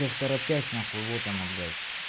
и в торопясь нахуй вот оно блядь